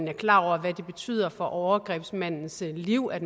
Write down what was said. er klar over hvad det betyder for overgrebsmandens liv at